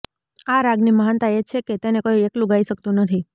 આ રાગની મહાનતા એ છે કે તેને કોઈ એકલું ગાઈ શકતું નથી